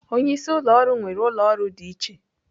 Onye isi ụlọ ọrụ nwere ụlọ ọrụ dị iche.